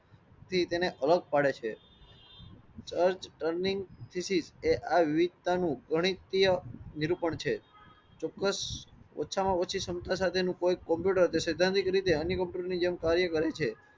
તેથી તેને અલગ પડે છે એ આ વિવિધતા નું ગણીતીય નિરૂપણ છે. ચોક્કસ ઓછા માં ઓછી ક્ષમતા સાથે નું કોઈ કમ્પ્યુટર સિદ્ધાંતિક રીતે અનિલ કપૂર ની જેમ કાર્ય કરેં છે